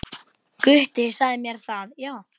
Gutti sagði mér það, já.